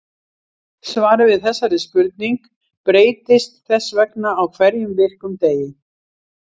Svarið við þessari spurning breytist þess vegna á hverjum virkum degi.